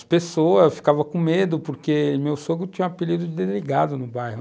As pessoas ficavam com medo, porque meu sogro tinha o apelido de delegado no bairro.